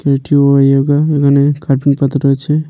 কিরিটি ওহ যোগা এইখানে কার্পেট পাতা রয়েছে।